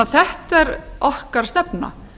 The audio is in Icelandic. þetta er okkar stefna